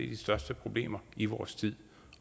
de største problemer i vores tid